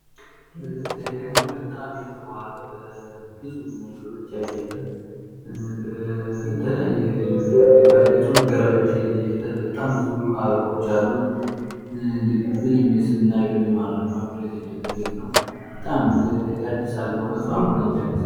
ይሄ ደግሞ በጣም የተዋበ በብዙ ነገሮች ያጌጠ በተለያዩ ነገሮች ባጌጡ መጋረጃዎች ላይ የተጌጠ በጣም ብዙ አበባዎች ያሉት ልብን ሚስብና በሚማርክ መልኩ የተጌጠ ቤት ነው ። በጣም ደስ ይላል በእውነቱ አእምሮ ነው የሚያድሰው።